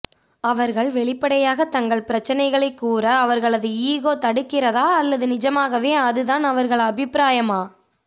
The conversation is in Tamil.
அவர்கள் வெளிப்படையாக தங்கள் பிரச்சினைகளை கூற அவர்களது ஈகோ தடுக்கிறதா அல்லது நிஜமாகவே அது தான் அவர்கள் அபிப்பிராயமா